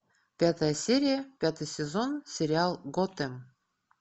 пятая серия пятый сезон сериал готэм